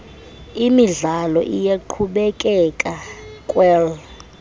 imidlalo iyaqhubekeka kwel